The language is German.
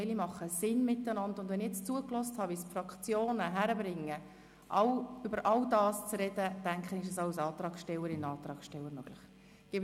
Wie wir bisher gehört haben, kriegen es die Fraktionen hin, dann ist dies auch einem Antragsteller, einer Antragstellerin möglich.